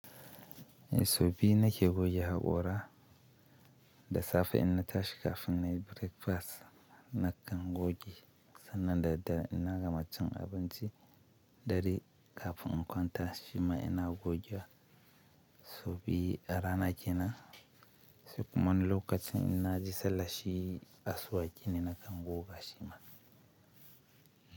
Eh sau biyu nake goge haƙora da safe in na tashi kafin na yi breakfast. Nakan goge sannan da daddare in na gama cin abincin dare kafin in kwanta. Shima ina goge sau biyu a rana kenan. Sai kuma wani lokacin ina je sallan shi, asuwaki ne nakan goga shima.